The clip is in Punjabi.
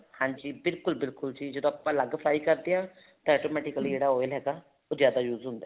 ਹਾਂਜੀ ਬਿਲਕੁਲ ਬਿਲਕੁਲ ਜੀ ਜਦੋਂ ਆਪਾਂ ਅਲੱਗ fry ਕਰਦੇ ਹਾਂ ਤਾਂ automatically oil ਹੈਗਾ ਉਹ ਜਿਆਦਾ use ਹੁੰਦਾ